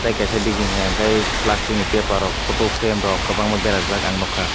tai kaisa digi hinkke plastic ni paper o photo frame kwbangma berajak ang nugkha.